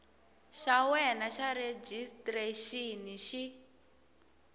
xa wena xa rejistrexini xi